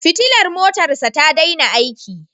Fitilar motarsa ta daina aiki.